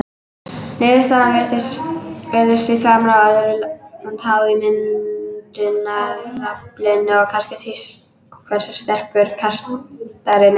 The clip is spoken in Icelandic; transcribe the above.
Niðurstaðan virðist því framar öðru háð ímyndunaraflinu og kannski því hversu sterkur kastarinn er.